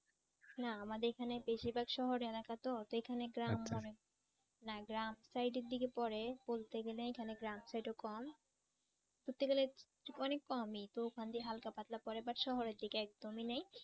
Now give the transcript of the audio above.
না আমাদের এখানে বেশিরভাগ শহর এলাকা তো তা এখানে গ্রাম অনেক না গ্রাম সাইডের দিকে পড়ে বলতে গেলে এখানে গ্রাম সাইডে কম বলতে গেলে অনেক কমই তো এখান দিয়ে হালকা-পাতলা পরে but শহরের দিকে একদমই নাই।